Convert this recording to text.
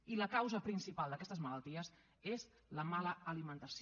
i la causa principal d’aquestes malalties és la mala alimentació